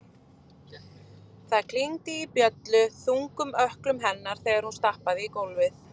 Það klingdi í bjöllu- þungum ökklum hennar þegar hún stappaði í gólfið.